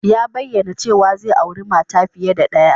Ya bayyana cewa zai auri mata fiye da ɗaya